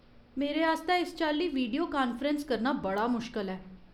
मेरे आस्तै इस चाल्ली वीडियो कान्फ्रैंस करना बड़ा मुश्कल ऐ।